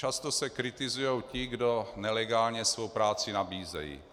Často se kritizují ti, kdo nelegálně svou práci nabízejí.